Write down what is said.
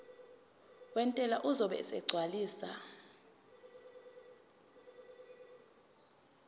wentela uzobe esegcwalisa